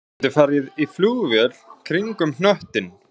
Þú getur farið í flugvél kringum hnöttinn